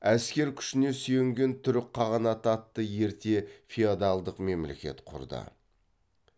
әскер күшіне сүйенген түрік қағанаты атты ерте феодалдық мемлекет құрды